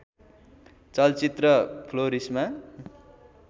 चलचित्र फ्लोरिशमा